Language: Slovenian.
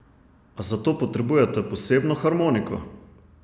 A zato potrebujete posebno harmoniko?